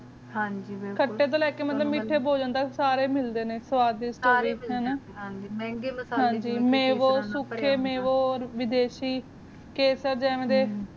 ਹਨ ਜੀ ਬਿਲਕੁਲ ਖਾਤੇ ਤ ਲੈ ਕ ਮਿਥੇ ਬਲਾਂ ਤਕ ਸਾਰੇ ਮਿਲਦੇ ਨੇ ਸਵਾਦਿਸ਼ ਸਾਰੇ ਮਿਲ ਦੇ ਹਨ ਹਨ ਜੀ ਮਾਵੋ ਸਖੀ ਮਾਵੋ ਓਰ ਵਿਦਸ਼ੀ ਕੇਸਰ ਜਾਵੀਂ ਦੇ